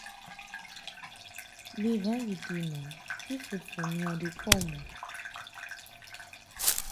babe how you dey um na keep food for me i i dey come um